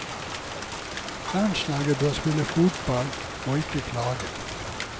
Landslaget bør spille fotball, og ikke klage.